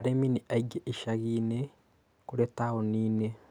Arĩmi nĩaingĩ icagiinĩ kũrĩ taoniinĩ